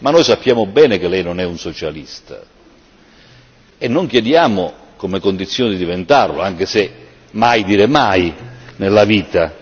Ma noi sappiamo bene che Lei non è un socialista e non Le chiediamo come condizione di diventarlo anche se mai dire mai nella vita.